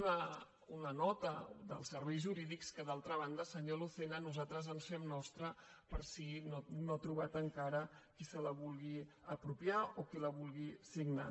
una nota dels serveis jurídics que d’altra banda senyor lucena nosaltres fem nostra per si no ha trobat encara qui se la vulgui apropiar o qui la vulgui signar